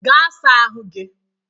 Gaa saa ahụ gị!